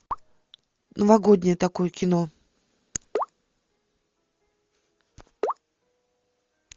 новогоднее такое кино